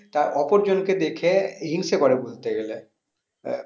তা অপর জনকে দেখে হিংসে করে ধরতে গেলে তা